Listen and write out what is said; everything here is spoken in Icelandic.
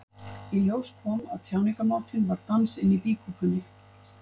Í ljós kom að tjáningarmátinn var dans inni í býkúpunni.